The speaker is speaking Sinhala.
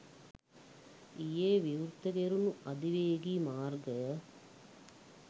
ඊයේ විවෘත කෙරුණු අධිවේගී මාර්ගය